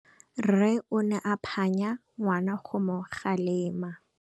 Rre o ne a phanya ngwana go mo galemela.